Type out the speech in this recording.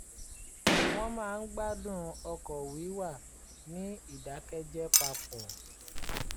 wọ́n máa ń gbádùn ọkọ̀ wíwà ní ìdákẹ́jẹ́ papọ̀